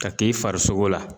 Ka k'i farisogo la